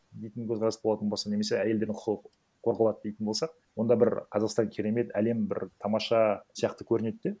дейтін көзқарас болатын болса немесе әйелдердің құқығы қорғалады дейтін болсақ онда бір қазақстан керемет әлем бір тамаша сияқты көрінеді де